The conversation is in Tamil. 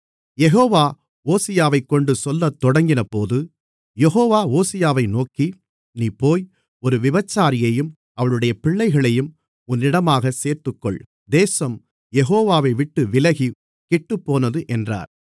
யெகோவா ஓசியாவைக்கொண்டு சொல்லத் தொடங்கினபோது யெகோவா ஓசியாவை நோக்கி நீ போய் ஒரு விபச்சாரியையும் அவளுடைய பிள்ளைகளையும் உன்னிடமாகச் சேர்த்துக்கொள் தேசம் யெகோவாவைவிட்டு விலகி கெட்டுப்போனது என்றார்